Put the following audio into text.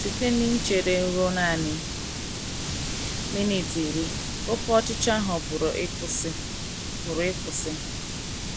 Site n’ichere ruo nanị minit iri, oké ọchịchọ ahụ pụrụ ịkwụsị. pụrụ ịkwụsị.